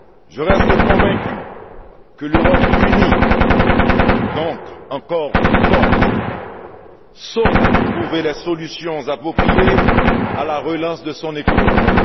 Je reste convaincu que l'Europe unie, donc encore plus forte, saura trouver les solutions appropriées à la relance de son économie.